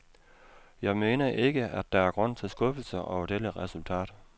Jeg mener ikke, at der er grund til skuffelse over dette resultat.